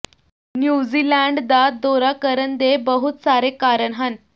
New Zealand ਦਾ ਦੌਰਾ ਕਰਨ ਦੇ ਬਹੁਤ ਸਾਰੇ ਕਾਰਨ ਹਨ